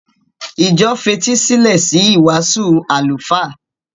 Ìjọ fetí sílẹ̀ sí ìwàásù àlùfáà.